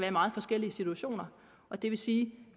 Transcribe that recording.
i meget forskellige situationer og det vil sige